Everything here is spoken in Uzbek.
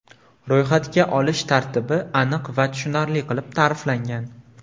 Ro‘yxatga olish tartibi aniq va tushunarli qilib ta’riflangan.